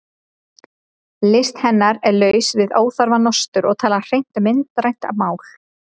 List hennar er laus við óþarfa nostur og talar hreint myndrænt mál.